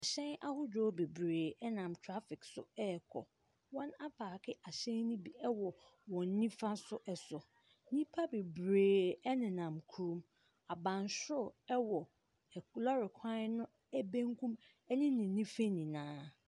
Hyɛn ahodoɔ bebree nam traffic so rekɔ. Wɔapaake ahyɛn no bi wɔ wɔn nifa so so. Nnipa bebree nam ho. Abansoro wɔ ak lɔre kwan no benkum ne ne nifa nyinaa.